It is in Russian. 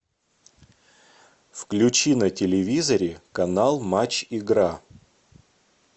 включи на телевизоре канал матч игра